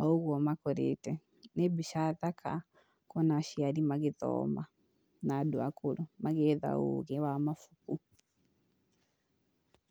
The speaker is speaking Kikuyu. o ũguo makũrĩte, nĩ mbica thaka kuona aciari magĩthoma na andũ akũrũ magĩetha ũgĩ wa mabuku.